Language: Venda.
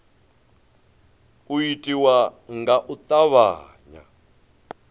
u itiwa nga u tavhanya